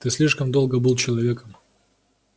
ты слишком долго был человеком